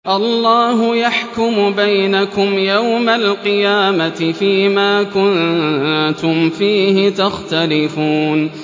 اللَّهُ يَحْكُمُ بَيْنَكُمْ يَوْمَ الْقِيَامَةِ فِيمَا كُنتُمْ فِيهِ تَخْتَلِفُونَ